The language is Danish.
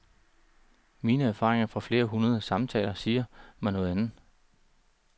Mine erfaringer fra flere hundrede samtaler siger mig noget andet.